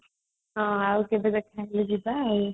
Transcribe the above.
ହଁ ଆଉ କେବେ ଦେଖା ହେଲେ ଯିବା